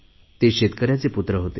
ते शेतकऱ्यांचे अपत्य होते